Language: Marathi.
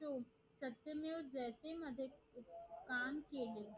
काम केले